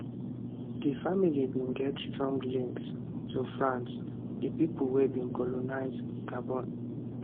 di family bin get strong links to france di pipo wey bin colonise gabon